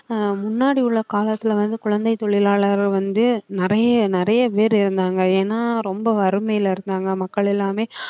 ஆஹ் முன்னாடி உள்ள காலத்துல வந்து குழந்தைத் தொழிலாளரை வந்து நிறைய நிறைய பேர் இருந்தாங்க ஏன்னா ரொம்ப வறுமையில இருந்தாங்க மக்கள் எல்லாமே